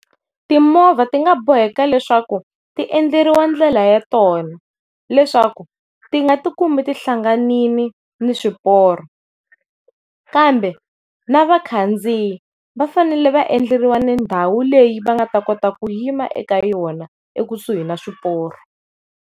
Timovha ti nga boheka leswaku ti endleriwa ndlela ya tona leswaku ti nga ti kumi tihlanganile na swiporo kambe na vakhandziyi va fanele vaendleriwa ni ndhawu leyi va nga ta kota ku yima eka yona ekusuhi na swiporo.